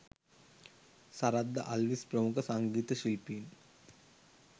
සරත් ද අල්විස් ප්‍රමුඛ සංගීත ශිල්පීන්